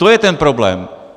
To je ten problém.